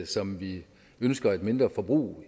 som vi ønsker et mindre forbrug